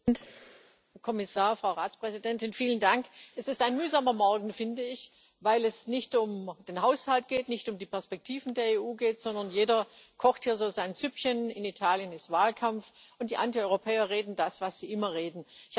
Herr Präsident, Herr Kommissar, Frau Ratspräsidentin! Vielen Dank. Das ist ein mühsamer Morgen, finde ich, weil es nicht um den Haushalt, nicht um die Perspektiven der EU geht, sondern jeder hier so sein Süppchen kocht In Italien ist Wahlkampf, und die Antieuropäer reden das, was sie immer reden.